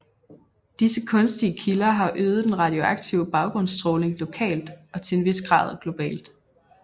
Disse kunstige kilder har øget den radioaktive baggrundsstråling lokalt og til en vis grad globalt